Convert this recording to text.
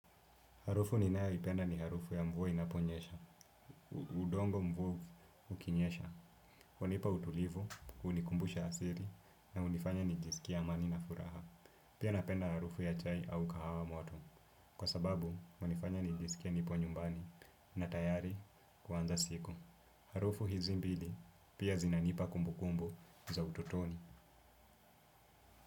Harufu ninayoipenda ni harufu ya mvua inaponyesha, udongo mvua ukinyesha, hunipa utulivu, hunikumbusha asiri na hunifanya nijisikie amani na furaha. Pia napenda harufu ya chai au kahawa moto, kwa sababu hunifanya nijisikie nipo nyumbani na tayari kuanza siku. Harufu hizi mbili pia zinanipa kumbukumbu za utotoni.